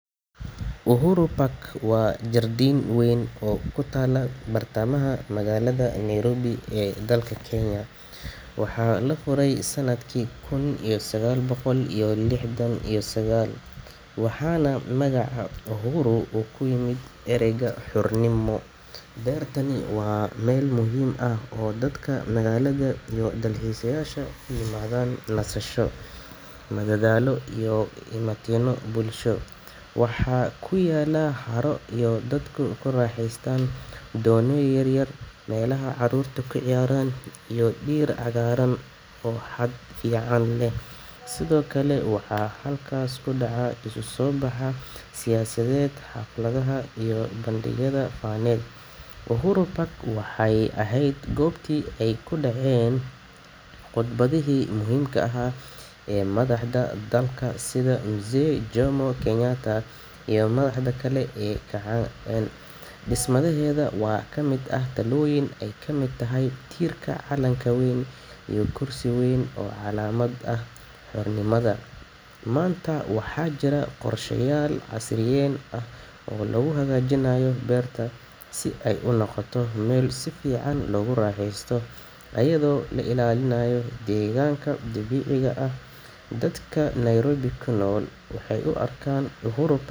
Uhuru Park waa jardiin weyn oo ku taalla bartamaha magaalada Nairobi ee dalka Kenya. Waxaa la furay sanadkii kun iyo sagaal boqol iyo lixdan iyo sagaal, waxaana magaca Uhuru uu ka yimid erayga xornimo. Beertan waa meel muhiim ah oo dadka magaalada iyo dalxiiseyaasha u yimaadaan nasasho, madadaalo, iyo isu imaatinno bulsho. Waxaa ku yaalla haro yar oo dadku ku raaxaystaan doonyo yar yar, meelaha carruurtu ku ciyaaraan, iyo dhir cagaaran oo hadh fiican leh. Sidoo kale, waxaa halkaas ka dhaca isu soo baxyada siyaasadeed, xafladaha, iyo bandhigyada faneed. Uhuru Park waxay ahayd goobtii ay ka dhaceen khudbadihii muhiimka ahaa ee madaxda dalka, sida Mzee Jomo Kenyatta iyo madaxda kale ee kacaanka. Dhismaheeda waxaa ka mid ah taallooyin ay ka mid tahay tiirka calanka weyn iyo kursi weyn oo calaamad u ah xornimada dalka. Maanta, waxaa jira qorshayaal casriyeyn ah oo lagu hagaajinayo beerta si ay u noqoto meel si fiican loogu raaxaysto, iyadoo la ilaalinayo deegaanka dabiiciga ah. Dadka Nairobi ku nool waxay u arkaan Uhuru Pa.